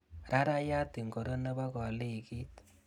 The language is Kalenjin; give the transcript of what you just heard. Rarayat ingoro nebo kolekit?